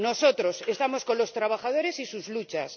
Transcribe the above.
Nosotros estamos con los trabajadores y sus luchas.